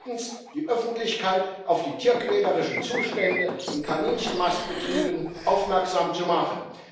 drittens die Öffentlichkeit auf die tierquälerischen Zustände in Kaninchenmastbetrieben aufmerksam zu machen.